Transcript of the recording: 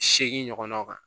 Seegin ɲɔgɔn kan